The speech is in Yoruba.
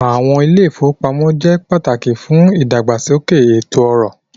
Banks are important for economic development